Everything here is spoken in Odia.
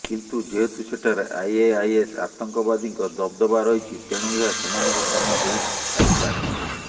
କିନ୍ତୁ ଯେହେତୁ ସେଠାରେ ଆଇଏଆଇଏସ୍ ଆତଙ୍କବାଦୀଙ୍କ ଦବଦବା ରହିଛି ତେଣୁ ଏହା ସେମାନଙ୍କ କାମ ହୋଇ ଥାଇପାରେ